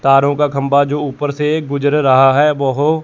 तारों का खंबा जो ऊपर से गुजर रहा है बाहो--